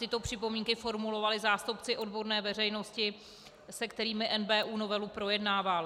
Tyto připomínky formulovali zástupci odborné veřejnosti, se kterými NBÚ novelu projednával.